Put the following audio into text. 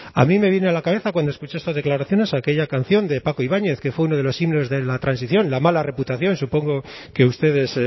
a mí me viene a la cabeza cuando escuché estas declaraciones aquella canción de paco ibáñez que fue uno de los signos de la transición la mala reputación y supongo que ustedes